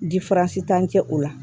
diransitan cɛ o la